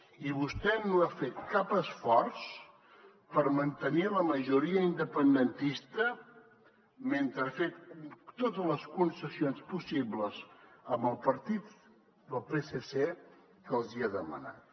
i vostè no ha fet cap esforç per mantenir la majoria independentista mentre que ha fet totes les concessions possibles al partit del psc que els hi ha demanat